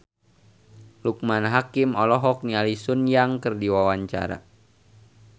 Loekman Hakim olohok ningali Sun Yang keur diwawancara